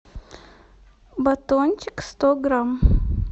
батончик сто грамм